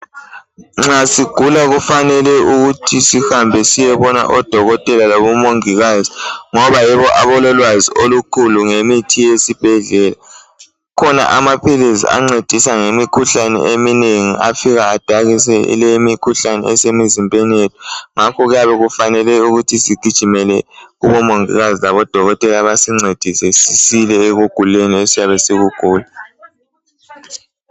Nxa sigula kufanele ukuthi sihambe siyebona odokotela labomongikazi., ngoba yibo abalolwazi olukhulu, ngemithi yesibhedlela. Kukhona amaphilisi ancedisa ngemikhuhlane eminegi. Afika adakise le imimikhuhlane esemizimbeni yethu. Ngakho kuyabe kufanele sigijimele kubomongikazi labodokotela, basincedise. Sisile kumikhuhlane yethu esiyabe siyigula.